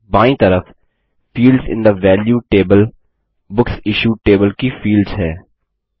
बायीं तरफ fields in the value table books issued table की फील्ड्स हैं